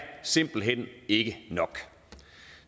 simpelt hen ikke nok